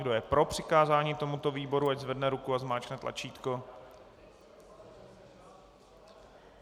Kdo je pro přikázání tomuto výboru, ať zvedne ruku a zmáčkne tlačítko.